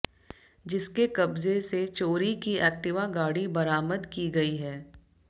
जिसके कब्जे से चोरी की एक्टिवा गाड़ी बरामद की गई है